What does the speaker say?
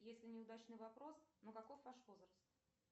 если неудачный вопрос но каков ваш возраст